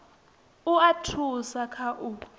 u a thusa kha u